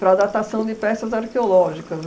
para datação de peças arqueológicas.